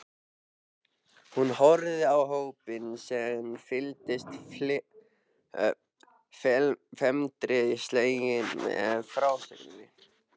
Hún horfði á hópinn sem fylgdist felmtri sleginn með frásögninni.